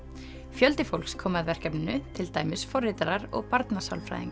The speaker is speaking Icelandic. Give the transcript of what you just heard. fjöldi fólks kom að verkefninu til dæmis forritarar og